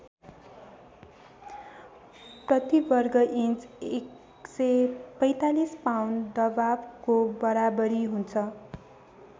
प्रतिवर्ग inch १४५ pound दबावको बराबरी हुन्छ।